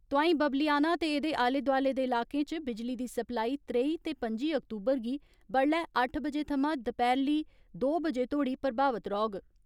तोंआई बाबलियाना ते एदे आले दोआले दे इलाकें च बिजली दी सप्लाई त्रेई ते पं'जी अक्तूबर गी बड्डलै अट्ठ बजे थमां दपैहली दो बजे तोड़ी प्रभावित रौहग।